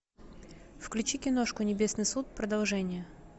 включи киношку небесный суд продолжение